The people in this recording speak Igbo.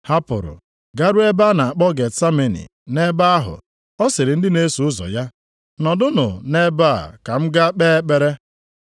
Ha pụrụ garuo ebe a na-akpọ Getsameni. Nʼebe ahụ, ọ sịrị ndị na-eso ụzọ ya, “Nọdụnụ nʼebe a ka m gaa kpee ekpere.”